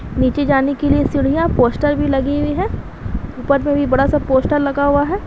नीचे जाने के लिए सीढ़ियां पोस्टर भी लगी हुई है ऊपर में भी पोस्टर लगा हुआ है।